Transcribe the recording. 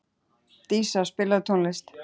Dísa, spilaðu tónlist.